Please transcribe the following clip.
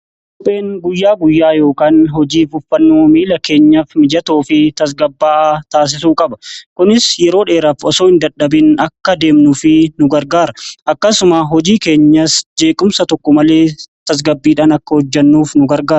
Kopheen guyyaa guyyaa yookaan hojii uffannoo miila keenya mijatoo fi tasgabba'a taasisuu qaba kunis yeroo dheeraaf osoo hin dadhabin akka deemnuu fi nu gargaara akkasuma hojii keenya jeequmsa tokko malee tasgabbiidhaan akka hojjannuuf nu gargaara.